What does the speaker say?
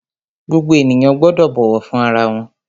Gbogbo ènìyàn gbọ́dọ̀ bọ̀wọ̀ fún ara wọn!